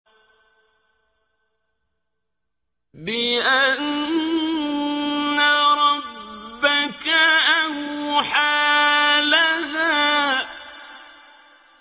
بِأَنَّ رَبَّكَ أَوْحَىٰ لَهَا